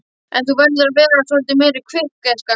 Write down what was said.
En þú verður að vera svolítið meira kvikk, gæskan.